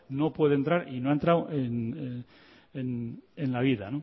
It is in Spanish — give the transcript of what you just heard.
no puede entrar y no ha entrado en la vida